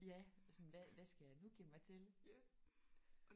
Ja! Sådan hvad hvad skal jeg nu give mig til?